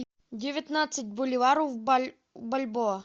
девятнадцать боливаров в бальбоа